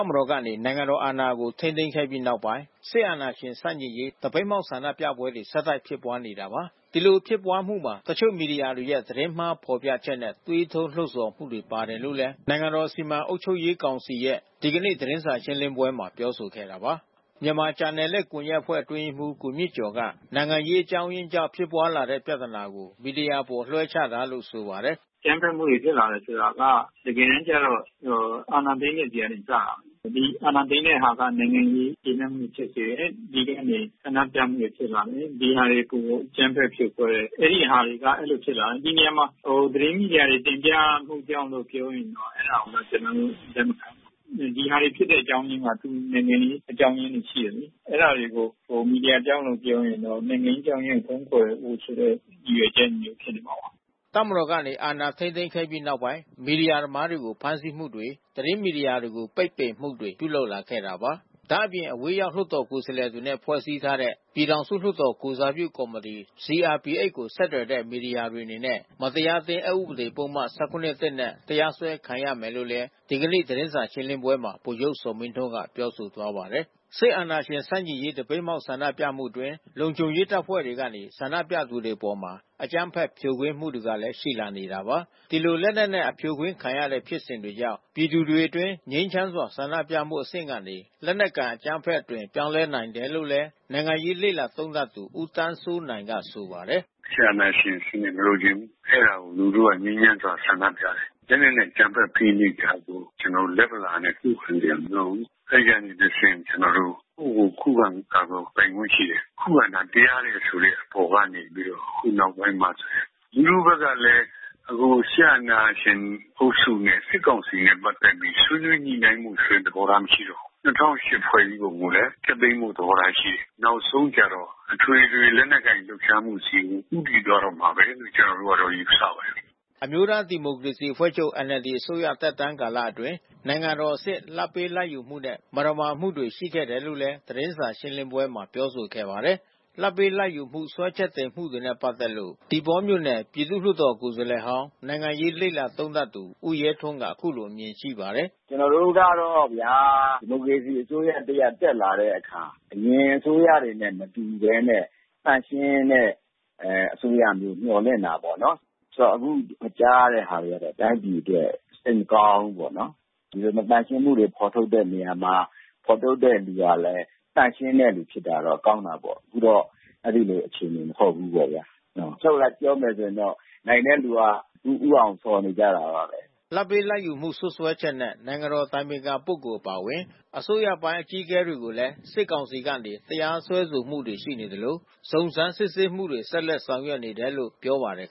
ပ်မတော်ကနေ နိုင်ငံတော်အာဏာကို ထိန်းသိမ်းခဲ့ပြီးနောက်ပိုင်း စစ်အာဏာရှင်ဆန့်ကျင်ရေး သပိတ်မှောက် ဆန္ဒပြပွဲတွေ ဆက်တိုက်ဖြစ်ပွါးနေတာပါ။ ဒီလိုဖြစ်ပွါးမှုမှာ တချို့မီဒီယာများရဲ့ သတင်းမှားဖော်ပြချက်နဲ့ သွေးထိုးလှုံဆော်မှုတွေ ပါတယ်လို့လည်း နိုင်ငံတော်စီမံအုပ်ချုပ်ရေးကောင်စီရဲ့ ဒီကနေ့ သတင်းစာရှင်းလင်းပွဲမှာပြောဆိုခဲ့တာပါ။ မြန်မာဂျာနယ်လစ်ကွန်ယက်အဖွဲ့အတွင်းရေးမှူး ကိုမြင့်ကျော်က နိုင်ငံရေးအကြောင်းအရင်းကြောင့် ဖြစ်ပွါးလာတဲ့ပြဿနာကို မီဒီယာအပေါ်လွှဲချတာလို့ ဆိုပါတယ်။ “အကြမ်းဖက်မှုတွေ ဖြစ်လာတယ်ဆိုတာက တကယ်တမ်းကျတော့ အာဏာသိမ်းတဲ့ဆီကစတယ်။ ဒီအာဏာသိမ်းတဲ့တဲ့ဟာက နိုင်ငံရေး မကျေနပ်မှုတွေဖြစ်စေတယ်။ တပြည်လုံးကနေ ဆန္ဒပြမှုတွေဖြစ်လာတယ်။ ဒီဟာတွေကို အကြမ်းဖက်ဖြိုခွဲတယ်။ အဲဒီဟာတွေကအဲဒီလိုဖြစ်လာတယ်။ ဒီနေရာမှာ သတင်းမီဒီယာတွေ တင်ပြမှုကြောင့်လို့ ပြောရင်တော့ အဲဒါတွေကို ကျနော်တို့ လက်မခံဘူး။ ဒီဟာတွေဖြစ်တဲ့အကြောင်းအရင်းက နိုင်ငံရေးအကြောင်းရင်းတွေ ရှိတယ်လေ။ အဲဒါတွေကို မီဒီယာကြောင့်လို့ ပြောရင်တော့ နိုင်ငံရေးအကြောင်းအရင်းကို ဖုံးကွယ်ဖို့ဆိုတဲ့ ရည်ရွယ်ချက်မျိုးဖြစ်နေမှာပါ။” တပ်မတော်ကနေ အာဏာထိန်းသိမ်းခဲ့ပြီးနောက်ပိုင်း မီဒီယာသမားတွေကို ဖမ်းဆီးမှုတွေ သတင်းမီဒီယာတွေကို ပိတ်ပင်မှုတွေပြုလုပ်လာခဲ့တာပါ။ ဒါ့အပြင် အဝေးရောက် လွှတ်တော်ကိုယ်စားလှယ်တွေနဲ့ ဖွဲ့စည်းထားတဲ့ ပြည်ထောင်စုလွှတ်တော်ကိုယ်စားပြုကော်မီတီ CRPH ကို ဆက်သွယ်တဲ့ မီဒီယာတွေအနေနဲ့ မတရားအသင်း အက်ဥပဒေ ၁၇ (၁) နဲ့ တရားစွဲခံရမယ်လို့လည်း ဒီကနေ့ သတင်းစာ ရှင်းလင်းပွဲမှာ ဗိုလ်ချုပ်ဇော်မင်းထွန်းက ပြောဆိုသွားပါတယ်။ စစ်အာဏာရှင်ဆန့်ကျင်ရေး သပိတ်မှောက် ဆန္ဒပြမှုအတွင်း လုံခြုံရေးတပ်ဖွဲ့တွေကနေ ဆန္ဒပြသူတွေအပေါ် အကြမ်းဖက်ဖြိုခွင်းမှုတွေလည်း ရှိလာနေတာပါ။ ဒီလိုလက်နက်နဲ့ အဖြိုခွင်းခံနေရတဲ့ဖြစ်စဉ်တွေကြောင့် ပြည်သူတွေအတွင်း ငြိမ်းချမ်းစွာဆန္ဒပြမှုအဆင့်ကနေ လက်နက်ကိုင် အကြမ်းဖက်မှု အသွင်ပြောင်းလဲလာနို်င်တယ်လို့လည်း နိုင်ငံရေးလေ့လာသုံးသပ်သူ ဦးသန်းစိုးနိုင်ကဆိုပါတယ်။ “စစ်အာဏာရှင်စနစ်ကို မလိုချင်ဘူး။ အဲဒါကို လူထုကနေငြိမ်းချမ်းစွာ ဆန္ဒပြတယ်။ လက်နက်နဲ့ အကြမ်းဖက်ဖိနှိပ်တာကို ကျနော်တို့ လက်ဗလာနဲ့ ခုခံစရာမလိုဘူး။ အဲဒီကနေတဆင့် ကျနော်တို့ ကိုယ့်ကိုယ်ကို ခုခံကာကွယ်ပိုင်ခွင့်ရှိတယ်။ ခုခံတာ တရားတယ်ဆိုတဲ့အပေါ်ကနေ ပြီးတော့ ဒီနောက်ပိုင်းမှာဆိုရင် လူထုဘက်ကလည်း အခုစစ်အာဏာရှင်အုပ်စုနဲ့ စစ်ကောင်စီနဲ့ ပတ်သက်ပြီး ဆွေးနွေးညှိနှိုင်းမှုဆိုတဲ့ သဘောထားမရှိတော့ဘူး။ ၂၀၀၈ ဖွဲ့စည်းပုံကိုလည်း ဖျက်သိမ်းဖို့ သဘောထားရှိတယ်။ နောက်ဆုံးကျတော့ အထွေထွေလက်နက်ကိုင်လှုပ်ရှားမှုဆီကို ဦးတည်သွားတော့မှာပဲလို့ ကျနော်တို့ကယူဆပါတယ်။" အမျိုးသားဒီမိုကရေစီအဖွဲ့ချုပ် NLD အစိုးရသက်တမ်းကာလအတွင်း နိုင်ငံတော်အဆင့် လာဘ်ပေးလာဘ်ယူမှုနဲ့ မသမာမှုတွေရှိခဲ့တယ်လို့လည်း သတင်းစာရှင်းလင်းပွဲမှာပြောဆိုခဲ့ပါတယ်။ လာဘ်ပေးလာဘ်ယူမှု စွဲချက်တင်မှုတွေနဲ့ ပတ်သက်လို့ သီပေါပြည်သူလွှတ်တော်ကိုယ်စားလှယ်ဟောင်း နိုင်ငံရေး လေ့လာ သုံးသပ်သူ ဦးရဲထွန်းက အခုလိုအမြင်ရှိပါတယ်။ “ကျနော်တို့ကတော့ဗျာ.... ဒီမိုကရေစီအစိုးရ တရပ်တက်လာတဲ့အခါ အရင်အစိုးနဲ့ မတူဘဲနဲ့ သန့်ရှင်းတဲ့အစိုးရ မျှော်လင့်တာပေါ့။ အခုကြားရတဲ့ဟာတွေကတော့ တိုင်းပြည်အတွက် စိတ်မကောင်းဘူးပေါ့နော်။ ဒီလိုမသန့်ရှင်းမှုတွေ ဖော်ထုတ်တဲ့နေရာမှာ ဖော်ထုတ်တဲ့သူကလည်း သန့်ရှင်းတဲ့သူဖြစ်တာတော့ ကောင်းတာပေါ့။ အခုတော့ အဲဒီလိုအခြေအနေမဟုတ်ဘူးပေါ့။ အချုပ်အရ ပြောမယ်ဆိုရင်တော့ နိုင်တဲ့သူက ဦးအောင်ဆော်နေကြတာပါပဲ။” လာဘ်ပေးလာဘ်ယူမှု စွပ်စွဲချက်နဲ့ နိုင်ငံတော်အတိုင်ပင်ခံပုဂ္ဂိုလ်အပါအဝင် အစိုးရပိုင်းအကြီးအကဲတွေကိုလည်း စစ်ကောင်စီကနေ တရားစွဲဆိုမှုတွေ ရှိနေသလို စုံစမ်းစစ်ဆေးမှုတွေကို ဆက်လက်ဆောင်ရွက်နေတယ်လို့ ပြောပါတယ်